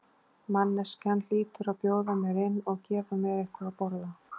Manneskjan hlýtur að bjóða mér inn og gefa mér eitthvað að borða.